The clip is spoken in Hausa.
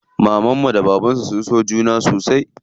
Mamanmu da bababnmu suna son juna sosai.